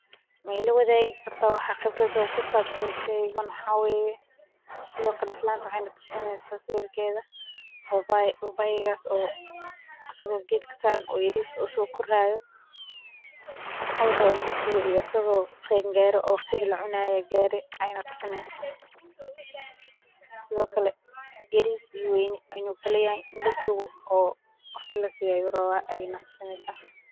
Ma ilawadaagi kartaa wax khibrad ah oo kusabsan shaygan, maxaa weye sithokale islantan wexee natusineysaa sawirkeda baabaay, baabaaygas o isago geedka saran yaris oo sokori hayo oo rawo in lasugu iyo asago qeen gare owaqtigi lacunayee gare aye natusineysa, sithokale yaris iyo weyni in u kalayahay in lasugo oo waqti lasiyo ayu rawa ayey natusineysaa.